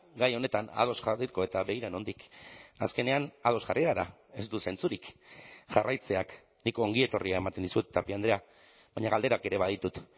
gai honetan ados jarriko eta begira nondik azkenean ados jarri gara ez du zentzurik jarraitzeak nik ongietorria ematen dizut tapia andrea baina galderak ere baditut